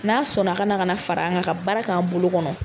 N'a sɔnna ka na ka na fara an kan ka baara kɛ an bolo kɔnɔ.